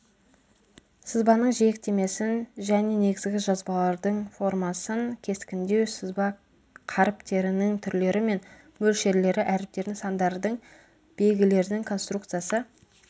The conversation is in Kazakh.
сызбаның жиектемесін және негізгі жазбалардың формасын кескіндеу сызба қаріптерінің түрлері мен мөлшерлері әріптердің сандардың белгілердің конструкциясы